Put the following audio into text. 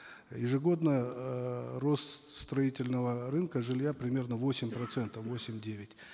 ежегодно эээ рост строительного рынка жилья примерно восемь процентов восемь девять